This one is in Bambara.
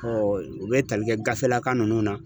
u bɛ tali kɛ gafelaka ninnu na